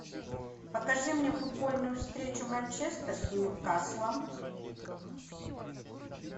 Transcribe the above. покажи мне футбольную встречу манчестер с ньюкаслом